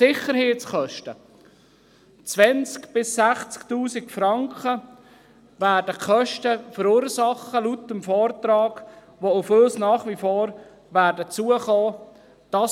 Sicherheitskosten: 20 000 bis 60 000 Franken werden die Kosten betragen, die laut Vortrag nach wie vor auf uns zukommen werden.